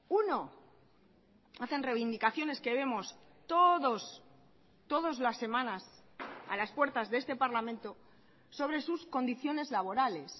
uno hacen reivindicaciones que vemos todos todas las semanas a las puertas de este parlamento sobre sus condiciones laborales